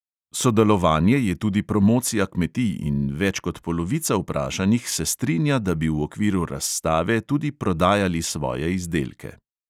Sodelovanje je tudi promocija kmetij in več kot polovica vprašanih se strinja, da bi v okviru razstave tudi prodajali svoje izdelke.